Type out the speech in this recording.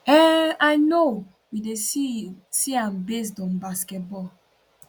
um i know we dey see see am based on basketball